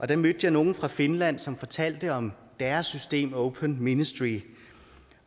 da mødte jeg nogle fra finland som fortalte om deres system open ministry